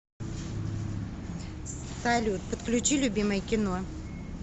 салют подключи любимое кино